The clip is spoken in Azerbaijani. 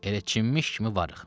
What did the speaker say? Elə çinmiş kimi varıq.